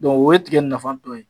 o ye tigɛ nafa dɔ ye.